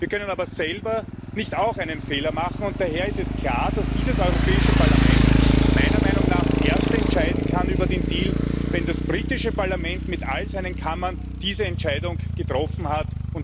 Wir dürfen aber selber nicht auch einen Fehler machen, und daher ist es klar, dass dieses Europäische Parlament meiner Meinung nach erst über den Deal entscheiden kann, wenn das britische Parlament mit all seinen Kammern diese Entscheidung getroffen hat.